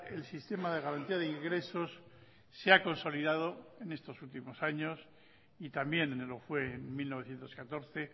el sistema de garantía de ingresos se ha consolidado en estos últimos años y también lo fue en mil novecientos catorce